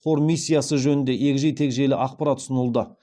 қор миссиясы жөнінде егжей тегжейлі ақпарат ұсынылды